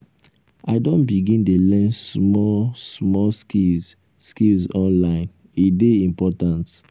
i don begin dey learn small um small skills skills online e dey important.